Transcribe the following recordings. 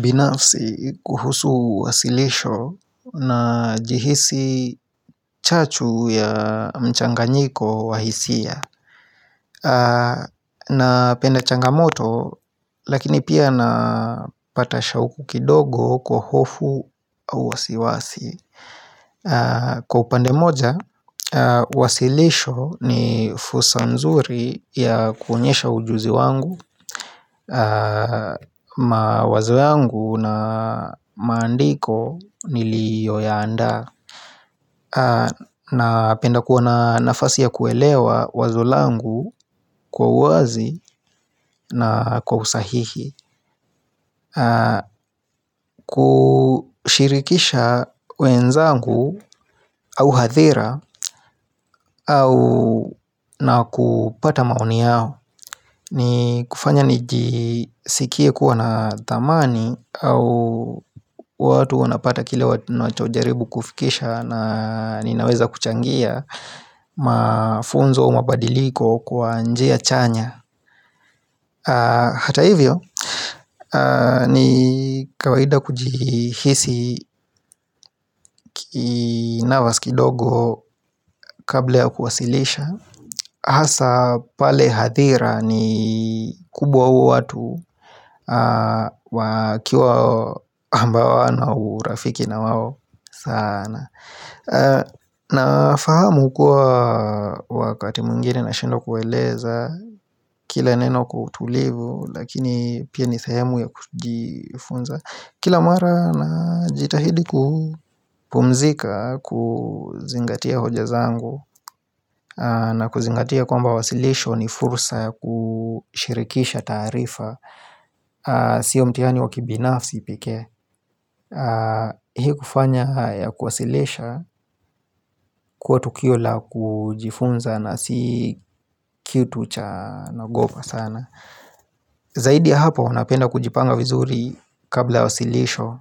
Binafsi kuhusu wasilisho na jihisi chachu ya mchanga nyiko wahisia na penda changamoto lakini pia napata shauku kidogo kwa hofu au wasiwasi Kwa upande moja, wasilisho ni fulsa nzuri ya kuonyesha ujuzi wangu ma wazo yangu na maandiko niliyo yaanda na penda kuwa na nafasi ya kuelewa wazo langu kwa uwazi na kwa usahihi kushirikisha wenzangu au hadhira au na kupata maoni yao ni kufanya nijisikie kuwa na thamani au watu wanapata kile watu na chojaribu kufikisha na ninaweza kuchangia mafunzo au mabadiliko kwa njia chanya Hata hivyo ni kawaida kujihisi kinavas kidogo kabla ya kuwasilisha Asa pale hadhira ni kubwa au watu wakiwa ambao awana urafiki na wao saana na fahamu kuwa wakati mwingine nashindwa kuwaeleza Kila neno kutulivu lakini pia ni sehemu ya kujifunza Kila mara na jitahidi kupumzika kuzingatia hoja zangu na kuzingatia kwamba wasilisho ni fursa ya kushirikisha taarifa Sio mtiani wakibinafsi pekee Hii kufanya ya kuwasilisha kuwa tukio la kujifunza na si kitu cha nagopa sana Zaidi ya hapo napenda kujipanga vizuri kabla ya wasilisho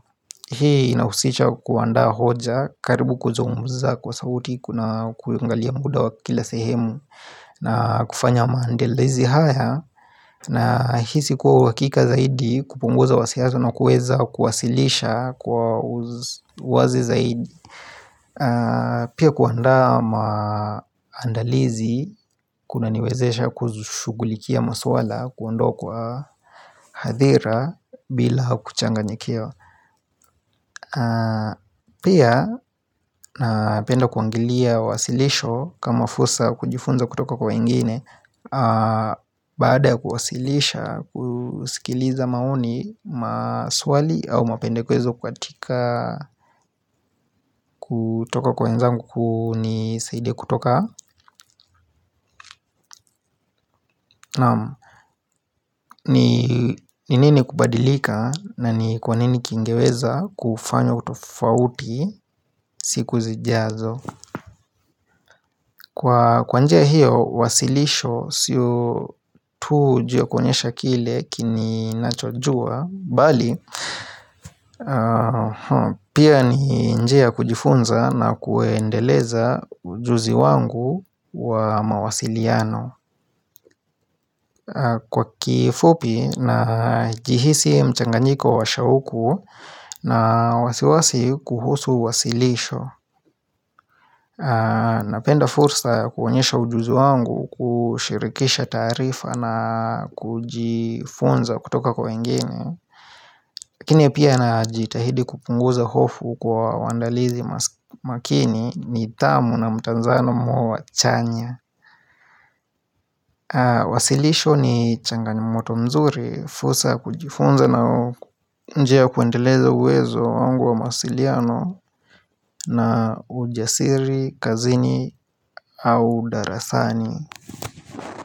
Hii inahusisha kuandaa hoja karibu kuzungumza kwa sauti kuna kuangalia muda wa kila sehemu na kufanya maandelizi haya na hisi kuwa uhakika zaidi kupunguza wasia zinazo kuweza kuwasilisha kwa uwazi zaidi Pia kuandaa maandalizi kuna niwezesha kuzushugulikia masuala kuondoa kwa hadhira bila kuchanga nyikiwa Pia na penda kuangilia wasilisho kama fulsa ya kujifunza kutoka kwa wengine Baada ya kuwasilisha kusikiliza maoni maswali au mapende kwezo kwa tika kutoka kwa wenzangu kunisaidie kutoka ni nini kubadilika na ni kwa nini kingeweza kufanyo utofauti siku zijazo Kwa kwanjia hiyo wasilisho siyo tu juu ya kuonyesha kile kini nacho jua Bali, pia ni njia ya kujifunza na kuendeleza ujuzi wangu wa mawasiliano Kwa kifupi na jihisi mchanganyiko wa shauku na wasiwasi kuhusu wasilisho Napenda fursa ya kuonyesha ujuzi wangu kushirikisha taarifa na kujifunza kutoka kwa wengine Lakini pia na ajitahidi kupunguza hofu kwa waandalizi makini nidhamu na mtanzano muo wa wachanya Wasilisho ni changanymoto mzuri fusa kujifunza na njia ya kuendeleza uwezo wangu wa mawasiliano na ujasiri, kazini au darasani.